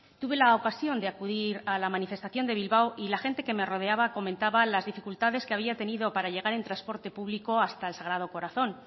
tuve la ocasión de acudir a la manifestación de bilbao y la gente que me rodeaba comentaba las dificultades que había tenido para llegar en transporte público hasta el sagrado corazón